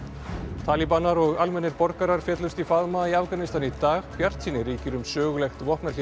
talíbanar og almennir borgarar féllust í faðma í Afganistan í dag bjartsýni ríkir um sögulegt vopnahlé